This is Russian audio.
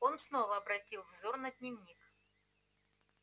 он снова обратил взор на дневник